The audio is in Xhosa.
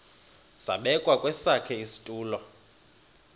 zabekwa kwesakhe isitulo